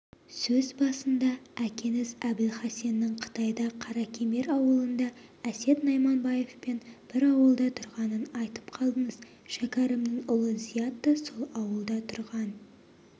сөз басында әкеңіз әбілхасеннің қытайда қаракемер ауылында әсет найманбаевпен бір ауылда тұрғанын айтып қалдыңыз шәкәрімнің ұлы зият та сол ауылда тұрған